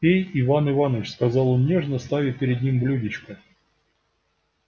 пей иван иваныч сказал он нежно ставя перед ним блюдечко